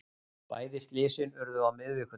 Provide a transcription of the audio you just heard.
Bæði slysin urðu á miðvikudag